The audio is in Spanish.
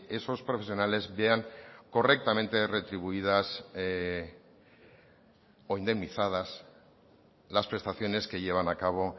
esos profesionales vean correctamente retribuidas o indemnizadas las prestaciones que llevan a cabo